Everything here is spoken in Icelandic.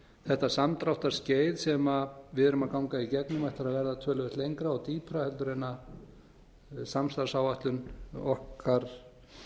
þetta samdráttarskeið sem við erum að ganga í gegnum ætli að vera töluvert lengra og dýpra heldur en samstarfsáætlun okkar